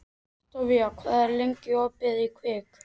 Oktavíus, hvað er lengi opið í Kvikk?